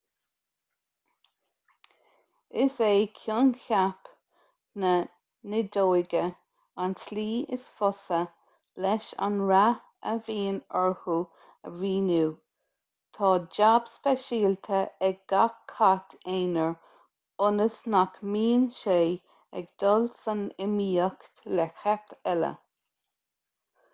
is é coincheap na nideoige an tslí is fusa leis an rath a bhíonn orthu a mhíniú tá jab speisialta ag gach cat aonair ionas nach mbíonn sé ag dul san iomaíocht le cait eile